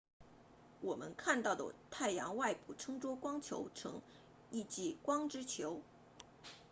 我们看到的太阳外部称作光球层意即光之球